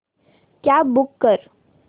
cab book कर